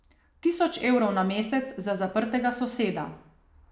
Tisoč evrov na mesec za zaprtega soseda.